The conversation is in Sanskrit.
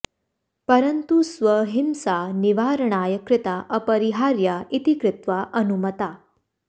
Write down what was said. परन्तु स्वहिम्सा निवारणाय कृता अपरिहार्या इति कृत्वा अनुमता